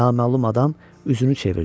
Naməlum adam üzünü çevirdi.